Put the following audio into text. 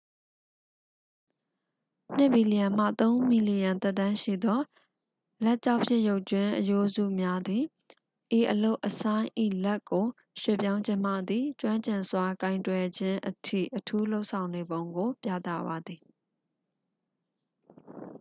နှစ်မီလီယံမှ သုံးမီလီယံသက်တမ်းရှိသော လက်ကျောက်ဖြစ်ရုပ်ကြွင်းအရိုးများသည် ဤအလုပ်အဆိုင်း၏ လက်ကို ရွှေ့ပြောင်းခြင်းမှသည် ကျွမ်းကျင်စွာကိုင်တွယ်ခြင်းအထိ အထူးလုပ်ဆောင်နေပုံကို ပြသပါသည်